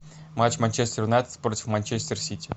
матч манчестер юнайтед против манчестер сити